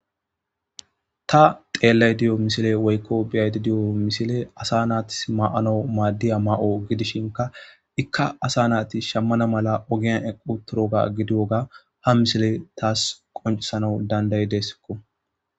Ta xeellay diyo misile woykko biyaydi diyo misile asa naatis ma7ano maaddiya ma7o gidishinka ikka asa naati shammana mala ogiyan equ toroga gidiyoga ha misile taas qoncisana danday deeskko.